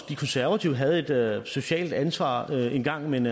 de konservative havde et socialt ansvar engang men